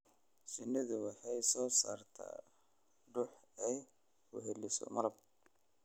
Shinnidu waxay soo saartaa dhux ay weheliso malab.